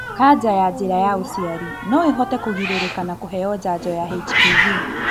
Kaja ya njĩra ya ũciari noĩhote kũgirĩrĩka na kũheo janjo ya HPV